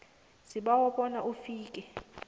sibawa bona ufike